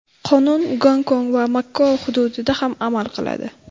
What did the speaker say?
Qonun Gongkong va Makao hududida ham amal qiladi.